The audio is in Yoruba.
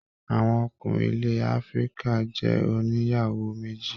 Àwọn ọkùnrin ilẹ áfíríkà jẹ ònìyàwó méjì.